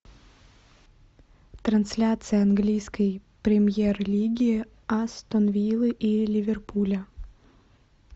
трансляция английской премьер лиги астон виллы и ливерпуля